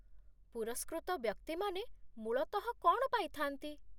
ପୁରସ୍କୃତ ବ୍ୟକ୍ତିମାନେ ମୂଳତଃ କ'ଣ ପାଇଥା'ନ୍ତି?